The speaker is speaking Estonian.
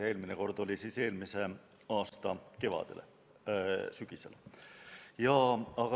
Eelmine kord oli eelmise aasta sügisel.